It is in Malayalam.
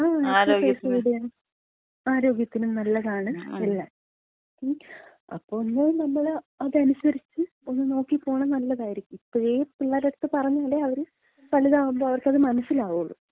ആ അതെ. ആരോഗ്യത്തിന് നല്ലതാണ് എല്ലാം. അപ്പോ ഒന്ന് നമ്മള് അതനുസരിച്ച് ഒന്ന് നോക്കി പോണ നല്ലതായിരിക്കും. ഇപ്പഴേ പിള്ളേരട അടുത്ത് പറഞ്ഞാലേ അവര് വലുതാവുമ്പോ അവർക്കത് മനസ്സിലാവുള്ളൂ.